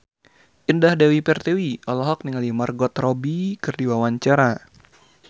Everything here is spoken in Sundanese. Indah Dewi Pertiwi olohok ningali Margot Robbie keur diwawancara